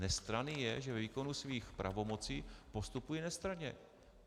Nestranný je, že ve výkonu svých pravomocí postupuje nestranně.